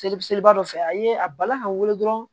Seli seliba dɔ fɛ a ye a bala ka weele dɔrɔn